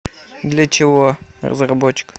для чего разработчик